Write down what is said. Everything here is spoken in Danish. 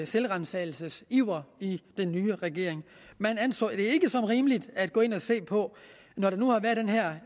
selvransagelsesiver i den nye regering man anså det ikke som rimeligt at gå ind og se på når der nu har været den her